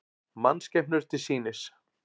Mannskepnur til sýnis